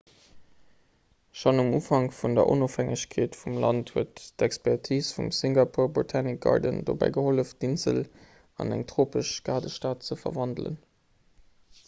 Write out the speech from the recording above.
schonn um ufank vun der onofhängegkeet vum land huet d'expertis vum singapore botanic garden dobäi gehollef d'insel an eng tropesch gaardestad ze verwandelen